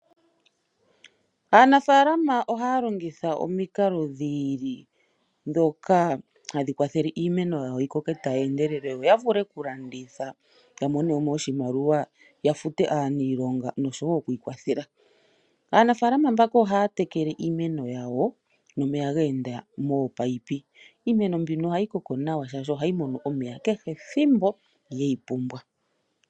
Aanafaalama ohaya longitha omikalo dhi ili, dhoka hadhi kwathele iimeno yawo yi koke tayi endelele, yo ya vule oku landitha, yo ya mone mo oshimaliwa, ya fute aaniilonga noshowo oku ikwathela. Aanafaalama mbaka ohaya tekele iimeno yawo, nomeya ge enda moopaipi. Iimeno mbino ohayi koko nawa, shaashi ohayi mono omeya kehe ethimbo geyi pumbwa.